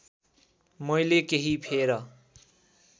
मैले केही फेर